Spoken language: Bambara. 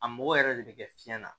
A mɔgɔ yɛrɛ de bɛ kɛ fiɲɛ na